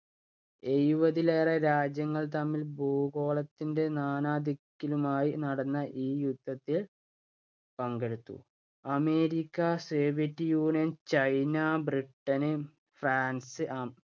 എഴുപതിലേറെ രാജ്യങ്ങൾ തമ്മിൽ ഭൂഗോളത്തിന്‍റെ നാനാദിക്കിലുമായി നടന്ന ഈ യുദ്ധത്തിൽ പങ്കെടുത്തു. America, Soviet Union, China, Britain, France